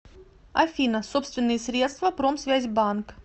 афина собственные средства промсвязьбанк